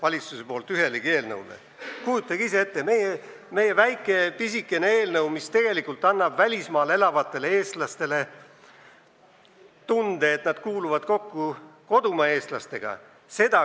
Kujutage ise ette, kuidas käsitletakse meie väikest, pisikest eelnõu, mis annab tegelikult välismaal elavatele eestlastele tunde, et nad kuuluvad kokku kodumaa eestlastega.